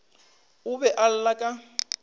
o be a lla ka